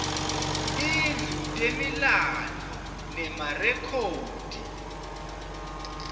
tindlu temilandvo nemarekhodi